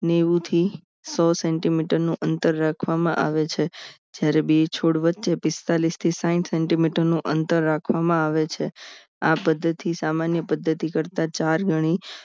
નેવું થી સો centimeter નું અંતર રાખવામાં આવે છે જ્યારે બી છોડ વચ્ચે પિસ્તાળીસ થી સાહીઠ centimeter નું અંતર રાખવામાં આવે છે આ પદ્ધતિ સામાન્ય પદ્ધતિ કરતા ચાર ગણી